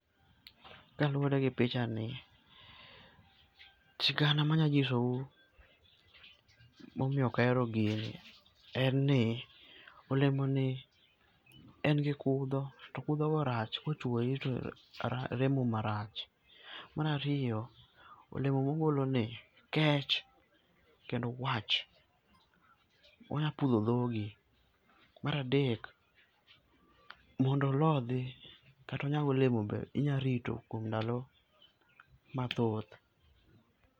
kaluore gi pichani , sigana ma anya ng'iso u ma omiyo ok ahero gini en ni ya, olemo ni en gi kudho to kudho go rach ka ochwoyi to remo marach. Mar ariyo, olemo ma ogolo ni kech kendo wach onyalo pudho dhogi. Mar adek, mondo olodhi kata onyag olemo be inya rito kuom ndalo ma thoth.